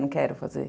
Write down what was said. Não quero fazer.